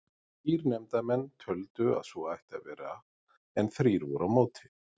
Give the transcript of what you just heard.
Þrír nefndarmenn töldu að svo ætti að vera en þrír voru á móti.